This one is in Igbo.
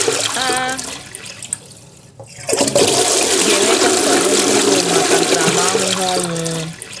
A A ga-enweta nkwado ndị Rom maka ntaramahụhụ ọnwụ.